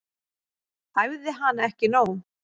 Æfði hana ekki nóg.